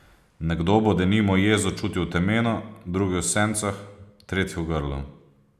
Nekdo bo denimo jezo čutil v temenu, drugi v sencah, tretji v grlu.